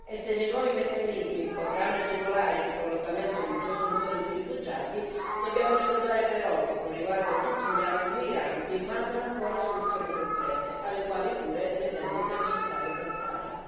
Se i nuovi meccanismi potranno agevolare la ricollocazione di un certo numero di rifugiati, dobbiamo però ricordare che, con riguardo a tutti gli altri emigranti, mancano ancora soluzioni concrete, alle quali pure ritengo sia necessario pensare.